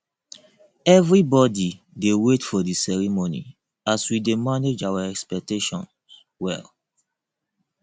everybody dey wait for the ceremony as we dey manage our expectations well